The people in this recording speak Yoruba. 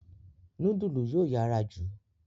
Nudulu yóò yára jù.